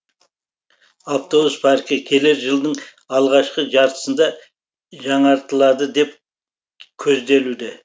автобус паркі келер жылдың алғашқы жартысында жаңартылады деп көзделуде